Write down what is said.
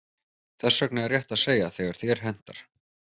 Þess vegna er rétt að segja þegar þér hentar.